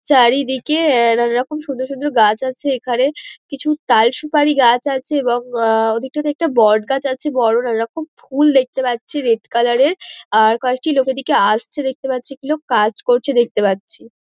চারিদিকে অ্যা নানারকম সুন্দর সুন্দর গাছ আছে এখানে। কিছু তাল সুপারি গাছ আছে এবং অ্যা ওদিকটাতে একটি বটগাছ আছে বোরো নানারকম ফুল দেখতে পাচ্ছি রেড কালার -এর। আর কয়েকটি লোক এদিকে আসছে দেখতে পাচ্ছি। কাজ করছে দেখতে পাচ্ছি।